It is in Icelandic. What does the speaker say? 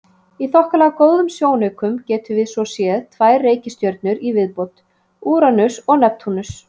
Í þokkalega góðum sjónaukum getum við svo séð tvær reikistjörnur í viðbót, Úranus og Neptúnus.